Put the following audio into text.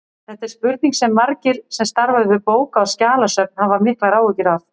Þetta er spurning sem margir sem starfa við bóka- og skjalasöfn hafa miklar áhyggjur af.